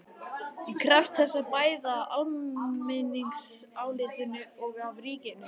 Ég krefst þessa bæði af almenningsálitinu og af ríkinu.